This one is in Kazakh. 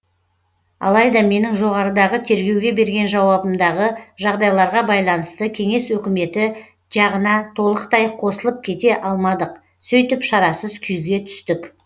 алайда менің жоғарыдағы тергеуге берген жауабымдағы жағдайларға байланысты кеңес өкіметі жағына толықтай қосылып кете алмадық сөйтіп шарасыз күйге түстік